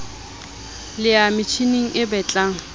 le ya metjhining e betlang